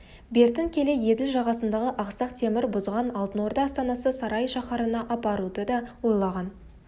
бертін келе еділ жағасындағы ақсақ темір бұзған алтын орда астанасы сарай шаһарына апаруды да ойлаған